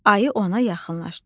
Ayı ona yaxınlaşdı.